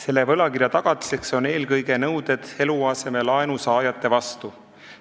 Selle võlakirja tagatiseks on eelkõige nõuded eluasemelaenu saajate vastu.